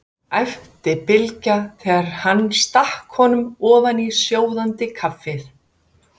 æpti Bylgja þegar hann stakk honum ofan í sjóðandi kaffið.